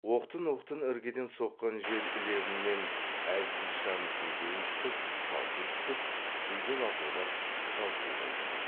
оқтын оқтын іргеден соққан жел лебімен әлсіз шам кейде ұйтқып шалқи түсіп кейде лапылдап жалпылдай жанады